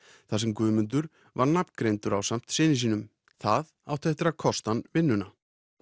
þar sem Guðmundur var nafngreindur ásamt syni sínum það átti eftir að kosta hann vinnuna